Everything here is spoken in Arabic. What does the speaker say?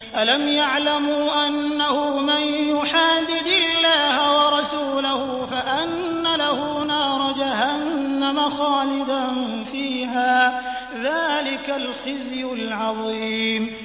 أَلَمْ يَعْلَمُوا أَنَّهُ مَن يُحَادِدِ اللَّهَ وَرَسُولَهُ فَأَنَّ لَهُ نَارَ جَهَنَّمَ خَالِدًا فِيهَا ۚ ذَٰلِكَ الْخِزْيُ الْعَظِيمُ